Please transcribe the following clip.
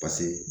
Paseke